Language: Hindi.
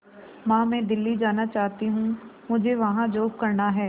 मां मैं दिल्ली जाना चाहते हूँ मुझे वहां जॉब करना है